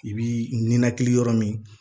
I bi ninakili yɔrɔ min